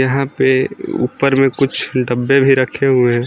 यहां पे ऊपर में कुछ डब्बे भी रखे हुए हैं।